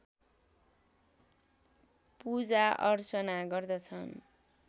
पूजाअर्चना गर्दछन्